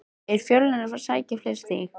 Er Fjölnir að fara að sækja fleiri stig?